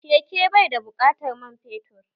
Keke bai da buƙatar man fetur